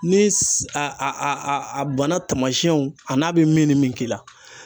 Ni s a a a a banna tamasiyɛnw a n'a bɛ min ni min k'i la.